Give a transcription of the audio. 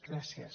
gràcies